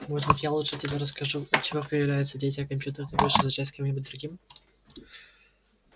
может быть я лучше тебе расскажу от чего появляются дети а компьютеры ты будешь изучать с кем-нибудь другим